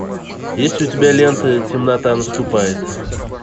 есть ли у тебя лента темнота наступает